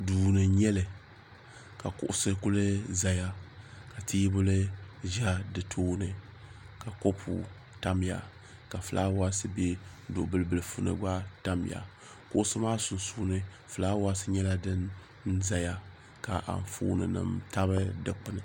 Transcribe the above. Duuni n nyɛli ka kuɣusi kuli zaya ka teebuli za di tooni ka kopu tamya ka filaawaasi be duɣu bili bilifuni tamya kuɣusi maa sunsuuni filaawaasi nyɛla din zaya ka anfooni nima tabi dikpini.